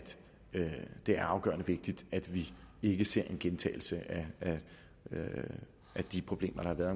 det er afgørende vigtigt at vi ikke ser en gentagelse af de problemer der har været